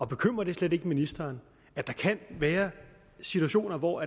bekymrer det slet ikke ministeren at der kan være situationer hvor